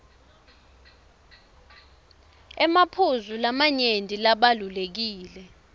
emaphuzu lamanyenti labalulekile